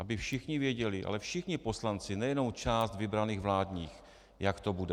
Aby všichni věděli, ale všichni poslanci, nejenom část vybraných vládních, jak to bude.